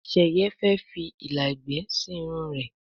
Sheye fè fí ìlà ègbé sí Irun rẹ.